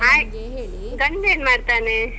ಆಯ್ತು. ಗಂಡ್ ಏನ್ ಮಾಡ್ತಾನೆ?